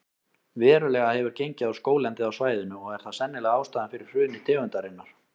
Verulega hefur gengið á skóglendið á svæðinu og er það sennilega ástæðan fyrir hruni tegundarinnar.